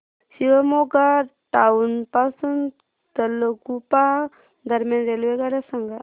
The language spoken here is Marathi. शिवमोग्गा टाउन पासून तलगुप्पा दरम्यान रेल्वेगाड्या सांगा